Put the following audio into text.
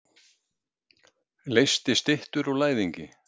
Leysti styttur úr læðingi.